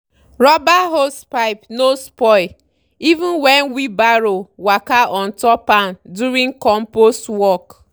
rubber hosepipe no spoil even when wheelbarrow waka on top am during compost work.